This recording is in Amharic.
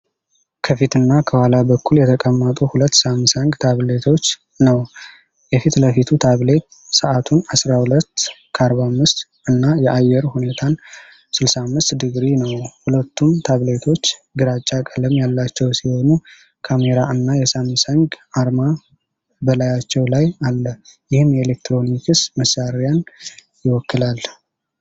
ከፊትና ከኋላ በኩል የተቀመጡ ሁለት ሳምሰንግ ታብሌቶች ነው። የፊት ለፊቱ ታብሌት ሰዓቱን (12፡45) እና የአየር ሁኔታን (65°) ነው። ሁለቱም ታብሌቶች ግራጫ ቀለም ያላቸው ሲሆኑ ካሜራ እና የሳምሰንግ አርማ በላያቸው ላይ አለ፤ ይህም የኤሌክትሮኒክስ መሣሪያን ይወክላል።